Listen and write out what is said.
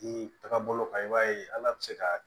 I taga bolo kan i b'a ye hali a bɛ se ka